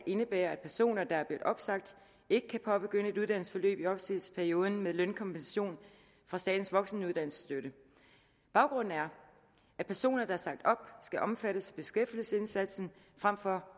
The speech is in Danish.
indebærer at personer der er blevet opsagt ikke kan påbegynde et uddannelsesforløb i opsigelsesperioden med lønkompensation fra statens voksenuddannelsesstøtte baggrunden er at personer der er sagt op skal omfattes af beskæftigelsesindsatsen frem for